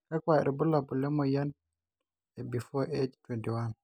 kakua irbulabol le moyian e before age 21.